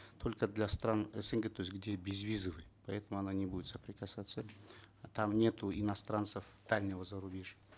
только для стран снг то есть где безвизовый поэтому она не будет соприкасаться там нету иностранцев дальнего зарубежья